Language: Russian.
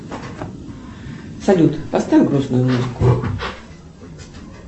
салют поставь грустную музыку